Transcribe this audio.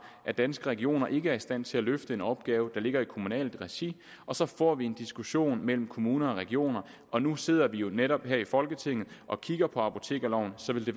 at danske regioner ikke er i stand til at løfte den opgave der ligger i kommunalt regi og så får vi en diskussion mellem kommuner og regioner og nu sidder vi netop her i folketinget og kigger på apotekerloven så vil det